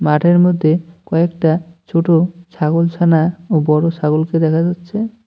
মাঠের মধ্যে কয়েকটা ছোট ছাগলছানা ও বড়ো ছাগলকে দেখা যাচ্ছে।